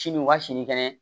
Sini u ka sini kɛnɛ